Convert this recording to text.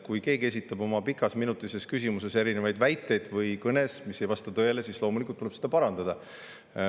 Kui keegi esitab oma pikas, minutises küsimuses või kõnes erinevaid väiteid, mis ei vasta tõele, siis loomulikult tuleb neid parandada.